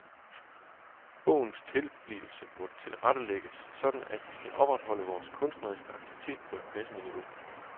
Bogens tilblivelse må tilrettelægges sådan at vi kan opretholde vores kunstneriske aktivitet på et passende niveau.